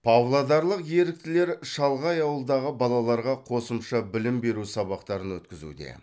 павлодарлық еріктілер шалғай ауылдағы балаларға қосымша білім беру сабақтарын өткізуде